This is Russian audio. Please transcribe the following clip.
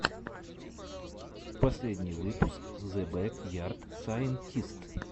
последний выпуск зе бэк ярд сайнтист